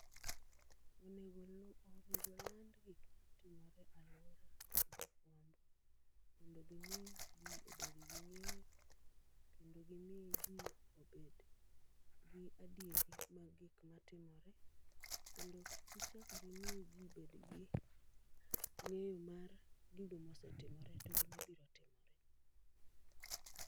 Onego olu onego oland gik ma timore alwora kod jofwambo, mondo gimi ji obed gi ng'eyo. Kendo gimi ji obed gi adieri mag gik ma timore. Kendo gichak gimi ji bed gi ng'eyo mar gigo mosetimore togi mabiro timore.